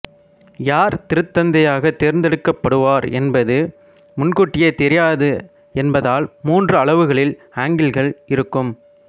யார் திருத்தந்தையாகத் தேர்ந்தெடுக்கப்படுவார் என்பது முன்கூட்டியே தெரியாது என்பதால் மூன்று அளவுகளில் அங்கிகள் இருக்கும்